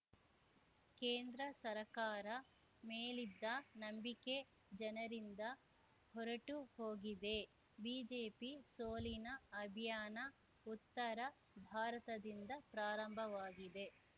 ಕೇಂದ್ರ ಸರಕಾರ ಮೇಲಿದ್ದ ನಂಬಿಕೆ ಜನರಿಂದ ಹೊರಟು ಹೋಗಿದೆ ಬಿಜೆಪಿ ಸೋಲಿನ ಅಭಿಯಾನ ಉತ್ತರ ಭಾರತದಿಂದ ಪ್ರಾರಂಭವಾಗಿದೆ